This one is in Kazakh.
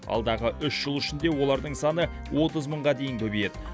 алдағы үш жыл ішінде олардың саны отыз мыңға дейін көбейеді